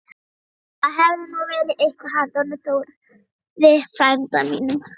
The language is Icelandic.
Það hefði nú verið eitthvað handa honum Þórði frænda mínum!